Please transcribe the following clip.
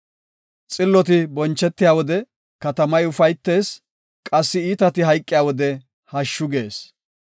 Xilloti bonchetiya wode, katamay ufaytees; qassi iitati hayqiya wode, hashshu gees.